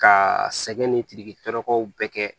Ka sɛgɛn ni pirikirakow bɛɛ kɛ